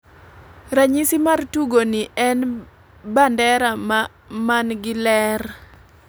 Ranyisi mar tugo ni en bandera man gi ler